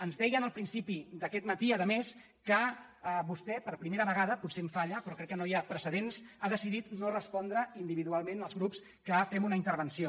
ens deien al principi d’aquest matí a més que vostè per primera vegada potser em falla però crec que no hi ha precedents ha decidit no respondre individual· ment als grups que fem una intervenció